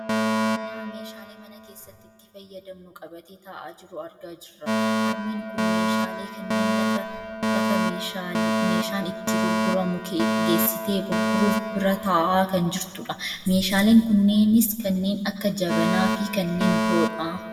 Nama meeshaalee mana keessatti itti fayyadamnu qabatee taa'aa jiru argaa jirra. Harmeen kun meeshaalee kanneen lafa meeshaan itti gurguramu geessitee gurguruuf bira taa'aa kan jirtudha. Meeshaaleen kunneenis kanneen akka jabanaafi kanneen biroodha.